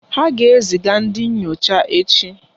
Ha ga-ezi ga ndị nyocha echi.